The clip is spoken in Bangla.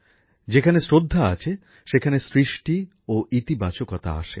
যেখানে শ্রদ্ধা আছে সেখানে সৃষ্টি ও ইতিবাচক উদ্যোগও আসে